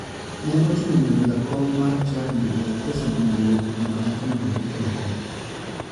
Ne ochuno mondo jakom chadi ogol pesa madung' mondo achono oruch oko.